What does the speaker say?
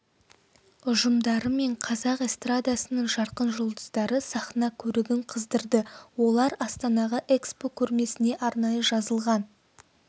ұжымдары мен қазақ эстрадасының жарқын жұлдыздары сахна көрігін қыздырды олар астанаға экспо көрмесіне арнайы жазылған